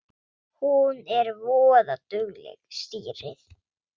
Hún er voða dugleg, stýrið.